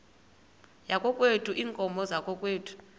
yakokwethu iinkomo zakokwethu